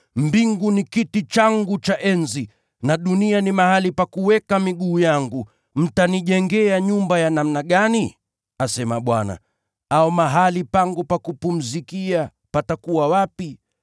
“ ‘Mbingu ni kiti changu cha enzi, nayo dunia ni mahali pa kuweka miguu yangu. Mtanijengea nyumba ya namna gani? asema Bwana. Au mahali pangu pa kupumzikia patakuwa wapi?